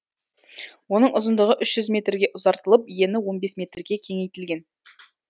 оның ұзындығы үш жүз метрге ұзартылып ені он бес метрге кеңейтілген